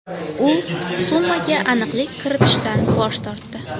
U summaga aniqlik kiritishdan bosh tortdi.